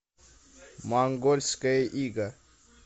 монгольское иго